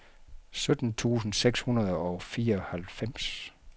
sytten tusind seks hundrede og fireoghalvfems